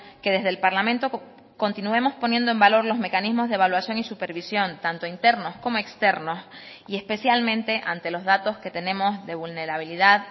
que desde el parlamento continuemos poniendo en valor los mecanismos de evaluación y supervisión tanto internos como externos y especialmente ante los datos que tenemos de vulnerabilidad